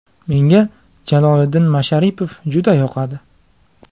Menga Jaloliddin Masharipov juda yoqadi.